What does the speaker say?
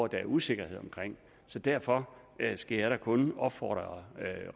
der er usikkerhed om så derfor skal jeg da kun opfordre